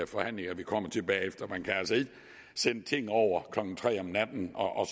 forhandlinger vi kommer til bagefter man kan altså ikke sende ting over klokken tre om natten og